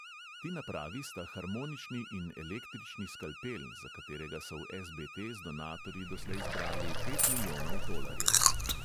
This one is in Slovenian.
Ti napravi sta harmonični in električni skalpel, za katerega so v es|be|te z donatorji doslej zbrali pet milijonov tolarjev.